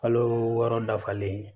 Kalo wɔɔrɔ dafalen